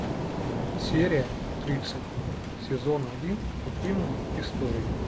серия тридцать сезон один утиные истории